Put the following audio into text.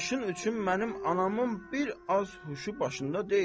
Başın üçün mənim anamın bir az huşu başında deyil.